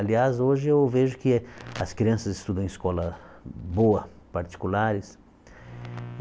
Aliás, hoje eu vejo que as crianças estudam em escola boa, particulares.